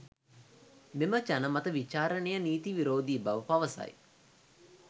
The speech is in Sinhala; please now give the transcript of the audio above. මෙම ජනමත විචාරණය නීති විරෝධී බව පවසයි